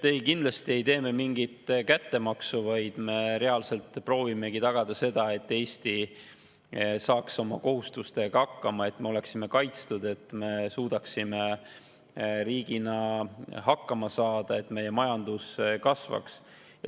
Ei, kindlasti ei tee me mingit kättemaksu, vaid me reaalselt proovimegi tagada seda, et Eesti saaks oma kohustustega hakkama, et me oleksime kaitstud, et me suudaksime riigina hakkama saada ja et meie majandus kasvaks.